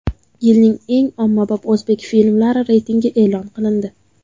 Yilning eng ommabop o‘zbek filmlari reytingi e’lon qilindi .